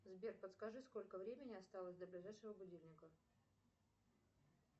сбер подскажи сколько времени осталось до ближайшего будильника